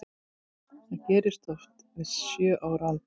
Það gerist oft við sjö ára aldur.